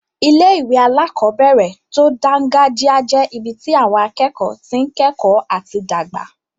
Ilé-ìwé alákobẹ̀rẹ̀ tó dángájíá jẹ́ ibi tí àwọn akẹ́kọ̀ọ́ tí n kẹ́kọ̀ọ́ àti dàgbà